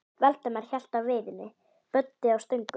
Valdimar hélt á veiðinni, Böddi á stöngunum.